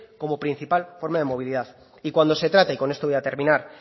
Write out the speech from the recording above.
como principal forma de movilidad y cuando se trata y con esto voy a terminar